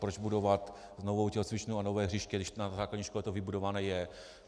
Proč budovat novou tělocvičnu a nové hřiště, když na základní škole to vybudované je?